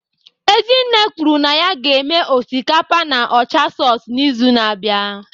Ezinne kwuru na ya ga-eme osikapa na ocha sauce n'izu na-abịa